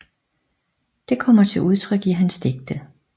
Det kommer til udtryk i hans digte